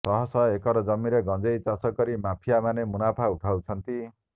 ଶହ ଶହ ଏକର ଜମିରେ ଗଞ୍ଜେଇ ଚାଷ କରି ମାଫିଆମାନେ ମୁନାଫା ଉଠାଉଛନ୍ତି